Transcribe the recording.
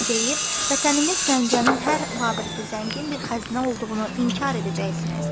Deyib vətənimiz Gəncənin hər babətdə zəngin bir xəzinə olduğunu inkar edəcəksiniz.